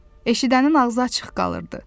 Eşidənin ağzı açıq qalırdı.